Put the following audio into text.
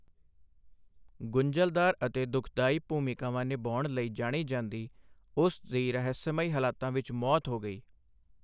ਗੁੰਝਲਦਾਰ ਅਤੇ ਦੁਖਦਾਈ ਭੂਮਿਕਾਵਾਂ ਨਿਭਾਉਣ ਲਈ ਜਾਣੀ ਜਾਂਦੀ, ਉਸ ਦੀ ਰਹੱਸਮਈ ਹਾਲਤਾਂ ਵਿੱਚ ਮੌਤ ਹੋ ਗਈ।